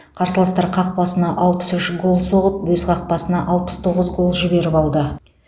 қарсыластар қақпасына алпыс үш гол соғып өз қақпасына алпыс тоғыз гол жіберіп алды